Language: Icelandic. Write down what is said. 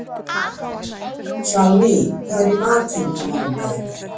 Salný, hvað er í matinn á mánudaginn?